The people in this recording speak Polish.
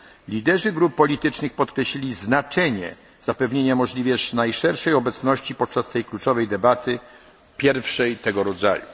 Parlamentu. Liderzy grup politycznych podkreślili znaczenie zapewnienia możliwie najszerszej obecności podczas tej kluczowej debaty, pierwszej